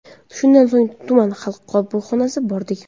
Shundan so‘ng tuman xalq qabulxonasiga bordik.